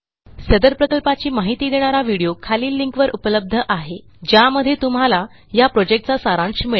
सदर प्रकल्पाची माहिती देणारा व्हिडीओ खालील लिंकवर उपलब्ध आहे ज्यामध्ये तुम्हाला ह्या प्रॉजेक्टचा सारांश मिळेल